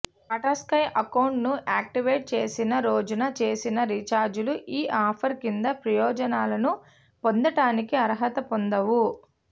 Tata Sky అకౌంటును activate చేసిన రోజున చేసిన రీఛార్జీలు ఈ ఆఫర్ కింద ప్రయోజనాలను పొందటానికి అర్హత పొందవు